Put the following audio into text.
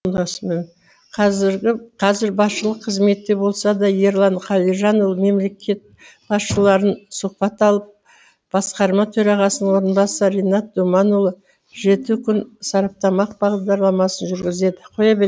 қазір басшылық қызметте болса да ерлан қалижанұлы мемлекет басшыларынан сұхбат алып басқарма төрағасының орынбасары ринат думанұлы жеті күн сараптамалық бағдарламасын жүргізеді